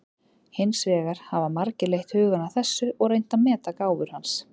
Hins vegar hafa margir leitt hugann að þessu og reynt að meta gáfur hans.